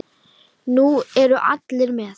Nú eru allir með!